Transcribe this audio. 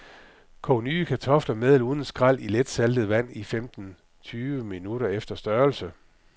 Kog nye kartofler med eller uden skræl i letsaltet vand i femten tyve minutter efter størrelse.